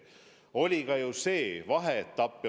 Oli ka ju see vaheetapp.